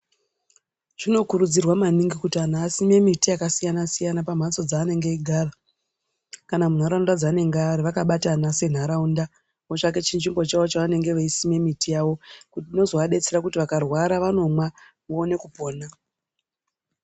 Zvinokurudzirwa maningi kuti anhu asime miti yakasiyana-siyana pamhatso dzaanenge eigara, kana munharaunda dzaanenga ari vakabatana senharaunda, votsvake chinzvimbo chavo chavanonga veisime miti yavo, inozovadetsera kuti vakarwara vanomwa, voone kupona.